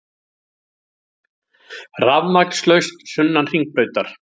Rafmagnslaust sunnan Hringbrautar